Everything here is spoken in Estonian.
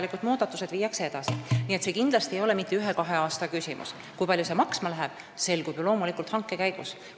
Nii et SKAIS2 arendus ei ole kindlasti ühe ega kahe aasta küsimus ja see, kui palju kõik maksma läheb, selgub hanke käigus.